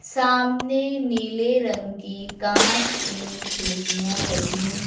सामने नीले रंग की कांच की खिड़कियां लगी--